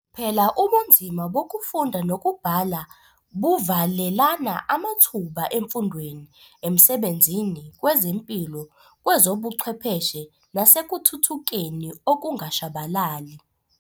Phela ubunzima bokufunda nokubhala buvalelana amathuba emfundweni, emsebenzini, kwezempilo, kwezobuchwepheshe nasekuthuthukeni okungashabalali.